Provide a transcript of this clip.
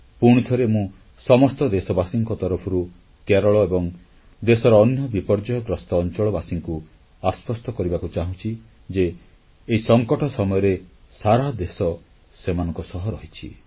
ପୁଣିଥରେ ମୁଁ ସମସ୍ତ ଦେଶବାସୀଙ୍କ ତରଫରୁ କେରଳ ଏବଂ ଦେଶର ଅନ୍ୟ ବିପର୍ଯ୍ୟୟଗ୍ରସ୍ତ ଅଂଚଳବାସୀଙ୍କୁ ଆଶ୍ୱସ୍ତ କରିବାକୁ ଚାହୁଁଛି ଯେ ଏହି ସଂକଟ ସମୟରେ ସାରା ଦେଶ ସେମାନଙ୍କ ସହ ରହିଛି